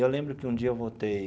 Eu lembro que um dia eu voltei